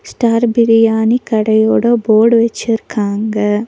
Star biryani கடையோட board வச்சுருக்காங்க.